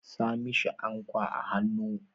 Sa mishi ankwa a hannu!